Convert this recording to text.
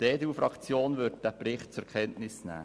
Die EDU-Fraktion wird diesen Bericht zur Kenntnis nehmen.